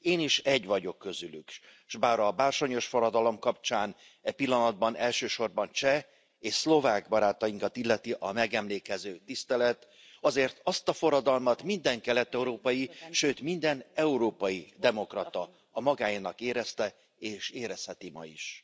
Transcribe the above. Én is egy vagyok közülük, s bár a bársonyos forradalom kapcsán e pillanatban elsősorban cseh és szlovák barátainkat illeti a megemlékező tisztelet, azért azt a forradalmat minden kelet európai, sőt minden európai demokrata a magáénak érezte, és érezheti ma is.